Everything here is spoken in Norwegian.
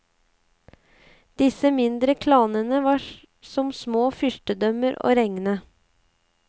Disse mindre klanene var som små fyrstedømmer og regne.